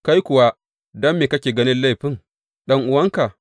Kai kuwa, don me kake ganin laifin ɗan’uwanka?